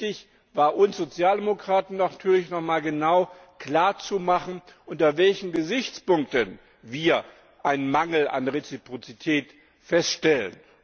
Wichtig war uns Sozialdemokraten natürlich, noch mal genau klarzumachen, unter welchen Gesichtspunkten wir einen Mangel an Reziprozität feststellen.